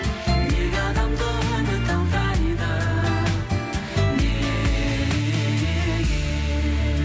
неге адамды үміт алдайды неге